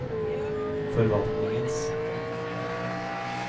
forvaltningens